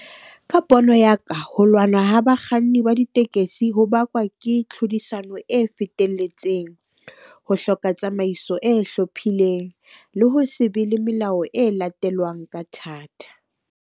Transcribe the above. Ka pono ya ka ho lwanwa ho bakganni ba ditekesi ho bakwa ke tlhodisano e fetelletseng. Ho hloka tsamaiso e hlophileng le ho se be le melao e latelwang ka thata.